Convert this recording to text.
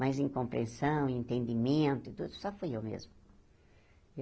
Mas em compreensão, em entendimento e tudo, só fui eu mesma.